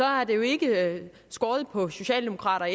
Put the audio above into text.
har jo ikke skortet på socialdemokrater